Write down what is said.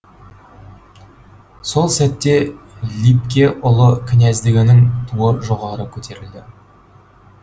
сол сәтте либке ұлы князьдігінің туы жоғары көтерілді